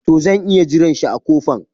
To zan iya jiran shi a kofan.